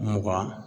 Mugan